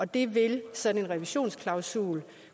det vil sådan en revisionsklausul